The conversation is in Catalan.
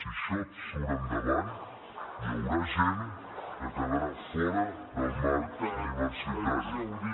si això surt endavant hi haurà gent que quedarà fora del marc universitari